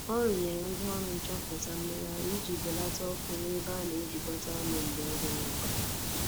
Ọ rụnyere ngwaọrụ nchọpụta mmegharị iji belata ọkụ n'ebe a na-ejikọta ọnụ mgbe ọ dịghị mkpa